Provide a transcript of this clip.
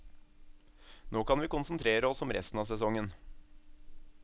Nå kan vi konsentrere oss om resten av sesongen.